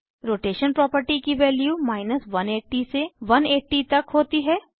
rotation property की values 180 से 180 तक होती हैं